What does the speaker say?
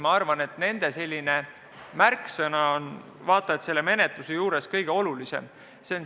Ma arvan, et nende märksõna on selle menetluse juures vaata et kõige olulisem.